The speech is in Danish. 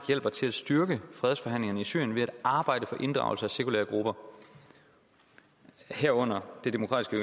hjælper til at styrke fredsforhandlingerne i syrien ved at arbejde for inddragelse af sekulære grupper herunder det demokratiske